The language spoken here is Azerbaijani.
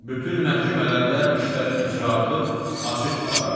Bütün məhkəmələrdə işlərin icraatı açıq aparılır.